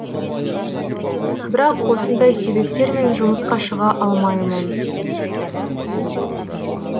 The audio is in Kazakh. бірақ осындай себептермен жұмысқа шыға алмаймын